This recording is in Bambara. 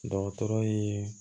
Dɔgɔtɔrɔ ye